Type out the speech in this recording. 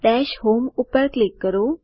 દશ હોમ ઉપર ક્લિક કરો